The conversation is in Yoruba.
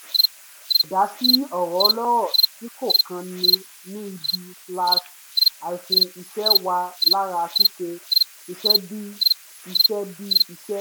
àì dá sí ọ̀rọ̀ ọlọ́rọ̀ tí kò kan ni ní ibi-iṣẹ́ wà lára ṣíṣe iṣẹ́ bí i iṣẹ́ bí i iṣẹ́